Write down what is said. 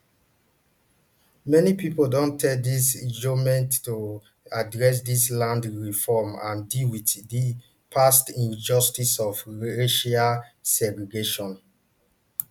many pipo don tell di goment to address di land reform and deal wit di past injustices of racial segregation